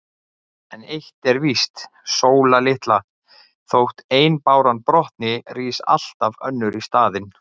En eitt er víst, Sóla litla: Þótt ein báran brotni, rís alltaf önnur í staðinn.